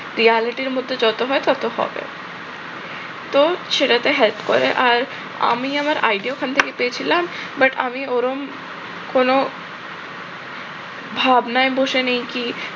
reality এর মধ্যে যত হয় তত problem তো সেটাতে help করে। আর আমি আমার idea ওখান থেকে পেয়েছিলাম but আমি ওরম কোনো ভাবনায় বসে নেই কি